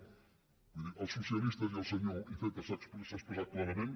vull dir els socialistes i el senyor iceta s’ha expressat clarament